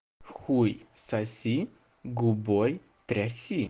хуй соси губой тряси